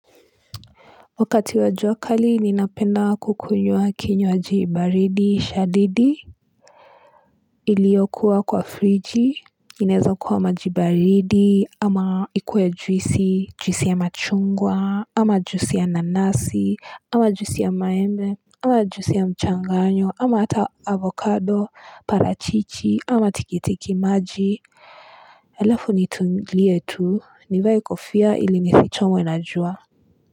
Wakati wa juakali ninapenda kukunywa kinywaji baridi shadidi iliokuwa kwa friji inaeza kuwa maji baridi ama ikuwe juisi juisi ya machungwa ama juisi ya nanasi ama juisi ya maembe ama juisi ya mchanganyo ama hata avocado parachichi ama tikitiki maji alafu nituilie tu nivae kofia ili nifichomwe na jua.